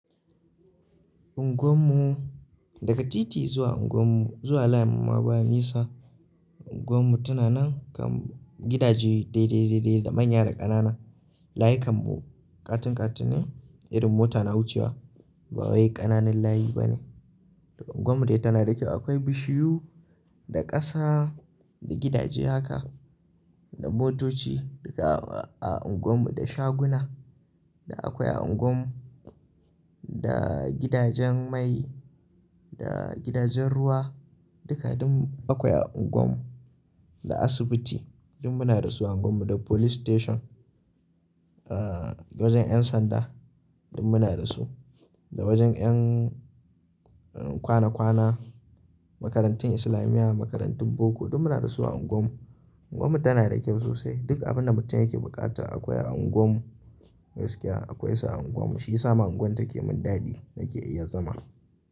Unguwar mu, daga titi zuwa unguwar mu zuwa layin mu ma ba nisa. Unguwar mu tana nan kan gidaje daidai-daidai da manya da ƙanana. Layikan mu ƙatin-ƙatin ne, irin mota na wucewa ba wai ƙananun layi ba ne. Unguwar mu dai tana da kyau. Akwai bishiyu da ƙasa da gidaje haka da motoci duka a unguwar mu, da shaguna da akwai a unguwar mu, da gidajen mai, da gidajen ruwa duka duk akwai a unguwar mu, da asibiti duk muna da su a unguwar mu, da police station, ah, wajen 'yan sanda duk muna da su, da wajen 'yan, um, kwana-kwana, makarantun islamiya, makarantun boko duk muna da su a unguwar mu. Unguwar mu tana da kyau sosai. Duk abin da mutum yake buƙata akwai a unguwar mu, gaskiya akwai sa a unguwar mu. Shi yasa ma unguwar take mun dadi nake iya zama.